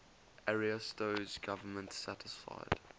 ariosto's government satisfied